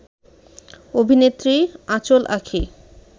অভিনেত্রী: আঁচল আঁখি